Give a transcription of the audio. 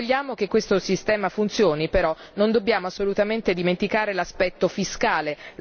Se vogliamo che questo sistema funzioni, però, non dobbiamo assolutamente dimenticare l'aspetto fiscale.